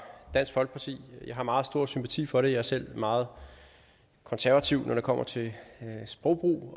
dansk folkeparti jeg har meget stor sympati for det jeg er selv meget konservativ når det kommer til sprogbrug og